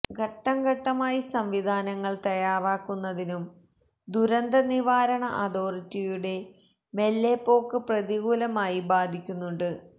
ഘട്ടം ഘട്ടമായി സംവിധാനങ്ങള് തയ്യാറാക്കുന്നതിനും ദുരന്ത നിവാരണ അതോറിറ്റിയുടെ മെല്ലെപ്പോക്ക് പ്രതികൂലമായി ബാധിക്കുന്നുണ്ട്